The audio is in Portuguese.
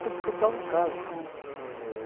contava um caso.